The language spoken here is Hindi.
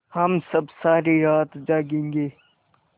हम सब सारी रात जागेंगे